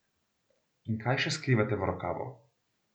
In kaj še skrivate v rokavu?